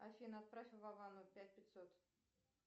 афина отправь вовану пять пятьсот